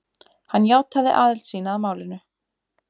Hann játaði aðild sína að málinu